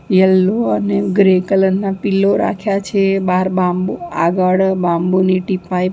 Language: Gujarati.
યલો અને ગ્રે કલર ના પીલો રાખ્યા છે બાર બાંબૂ આગળ બાંબૂ ની ટીપાય --